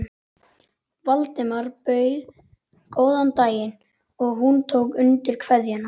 Valdimar bauð góðan daginn og hún tók undir kveðjuna.